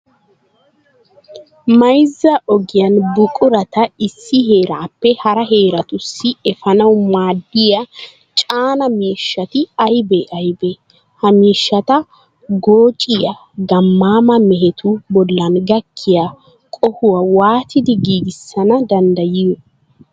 Mayzza ogiyan buqurata issi heeraappe hara heeratussi efanawu maaddiya caanaa miishshati aybee aybee? Ha miishshata goochchiya gammaama mehetu bollan gakkiya qohuwa waatidi giigissana danddayiyo?